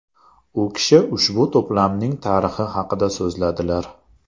U kishi ushbu to‘plamning tarixi haqida so‘zladilar.